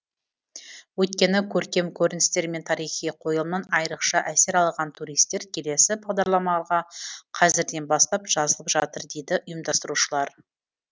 өйткені көркем көріністер мен тарихи қойылымнан айрықша әсер алған туристер келесі бағдарламаға қазірден бастап жазылып жатыр дейді ұйымдастырушылар